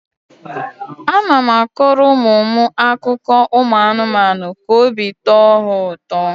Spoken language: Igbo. A na m akọrọ ụmụ m akụkọ anụmanụ ka obi tọọ ha ụtọ.